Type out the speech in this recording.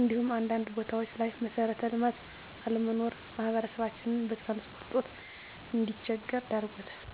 እንዲሁም አንዳንድ ቦታዎች ላይ መሠረተ ልማት አለመኖር ማህበረሰባችን በትራንስፖርት እጦት እንዲቸገር ዳርጎታል።